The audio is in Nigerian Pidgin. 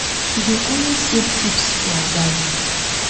she dey always save tips for her gallery